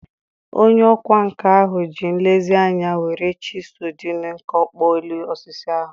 Onye ọkwá nkà ahụ ji nlezianya were chịsu dị nkọ kpụọ elu osisi ahụ